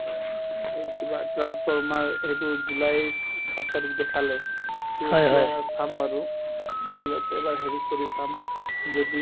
এই কিবা transformers সেইটো জুলাইৰ সাত তাৰিখ দেখালে to চাম বাৰু mobile ত এবাৰ হেৰি কৰি চাম যদি